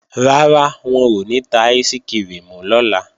Rárá, wọn ò ní ta áìsikirimù lọ́la